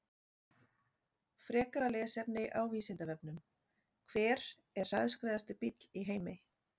Frekara lesefni á Vísindavefnum: Hver er hraðskreiðasti bíll í heimi?